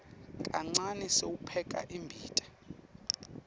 kancane sewupheka imbita